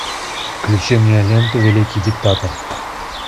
включи мне ленту великий диктатор